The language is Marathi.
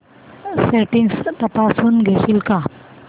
सेटिंग्स तपासून घेशील का